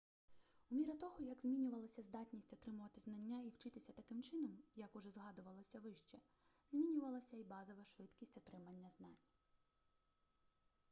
у міру того як змінювалася здатність отримувати знання і вчитися таким чином як уже згадувалося вище змінювалася і базова швидкість отримання знань